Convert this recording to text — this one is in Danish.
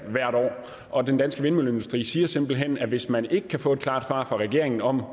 og den danske vindmølleindustri siger simpelt hen at hvis man ikke kan få et klart svar fra regeringen om